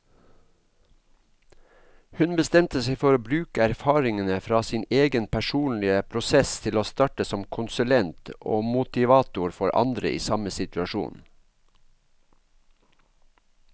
Hun bestemte seg for å bruke erfaringene fra sin egen personlige prosess til å starte som konsulent og motivator for andre i samme situasjon.